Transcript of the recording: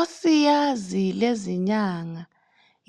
Osiyazi lezinyanga